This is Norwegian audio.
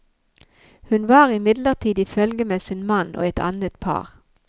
Hun var imidlertid i følge med sin mann og et annet par.